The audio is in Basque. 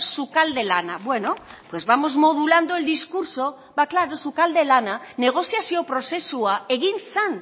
sukalde lana bueno pues vamos modulando el discurso ba claro sukalde lana negoziazio prozesua egin zen